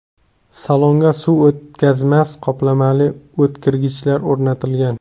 Salonga suv o‘tkazmas qoplamali o‘tirgichlar o‘rnatilgan.